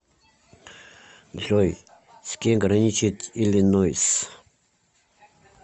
джой с кем граничит иллинойс